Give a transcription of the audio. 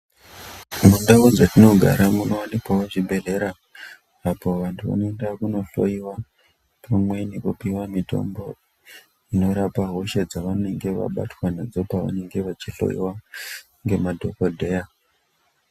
Mundau dzatinogara munovanikwawo zvibhedhlera. Apo vantu vanoenda kunohloiwa pamwe nekupiwa mitombo inorapa hosha dzavanenge vabatwa nadzo, pavanenge vachihloiwa ngemadhokodheya.